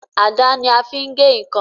Àdá ní a fín gè nkán.